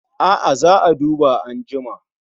A'a, za a duba anjima